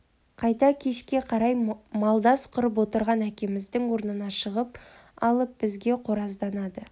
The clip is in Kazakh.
қайта кешке қарай малдас құрып отырған әкеміздің алдына шығып алып бізге қоразданады